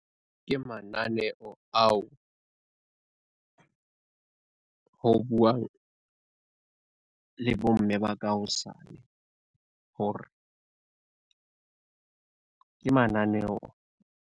Ke mananeo ao ho buang, le bomme ba ka hosane hore ke mananeo.